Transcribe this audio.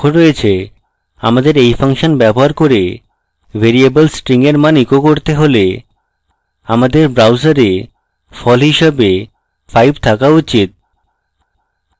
আমাদের এই ফাংশন ব্যবহার করে ভ্যারিয়েবল $string এর মান echo করতে হলে আমাদের browser ফল হিসাবে 5 থাকা উচিত